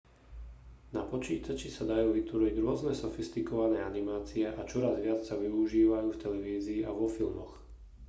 na počítači sa dajú vytvoriť rôzne sofistikované animácie a čoraz viac sa využívajú v televízii a vo filmoch